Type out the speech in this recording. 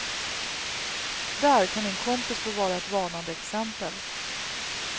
Där kan min kompis få vara ett varnande exempel.